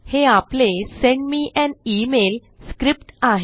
हे आपले send me an email script आहे